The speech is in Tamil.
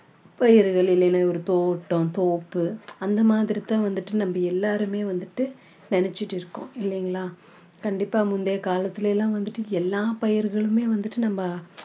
பயிர்கள் இல்லன்னா ஒரு தோட்டம் தோப்பு அந்த மாதிரி தான் வந்துட்டு நம்ம எல்லாருமே வந்துட்டு நினைச்சிட்டு இருக்கோம் இல்லைங்களா கண்டிப்பா முந்தைய காலத்துல எல்லாம் வந்துட்டு எல்லாம் பயிர்களுமே வந்துட்டு நம்ம